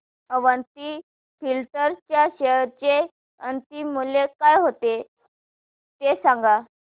Avanti Feeds च्या share चे अंतिम मूल्य काय होते ते सांगा